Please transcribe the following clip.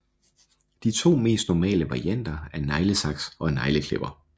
De to mest normale varianter er neglesaks og negleklipper